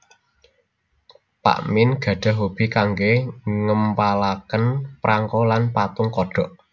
Pak Mien gadhah hobi kanggé ngempalaken prangko lan patung kodhok